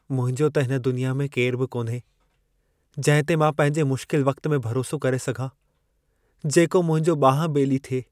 मुंहिंजो त हिन दुनिया में केरु बि कोन्हे, जंहिं ते मां पंहिंजे मुश्किल वक़्त में भरोसो करे सघां। जेको मुंहिंजो ॿांहु-ॿेली थिए।